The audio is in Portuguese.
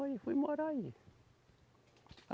Aí fui morar aí.